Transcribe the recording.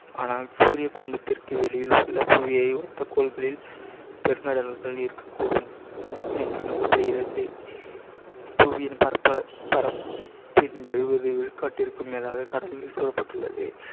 ஆனால் சூரிய குடும்பத்திற்கு வெளியில் உள்ள புவியை ஒத்த கோள்களில் பெருங்கடல்கள் இருக்கக்கூடும் என்று நம்பப்படுகிறது. புவியின் பரப்ப~ பரப்பில் எழுவது விழுக்காட்டிற்கு மேலாக கடல்நீர் சூழப்பட்டுள்ளது.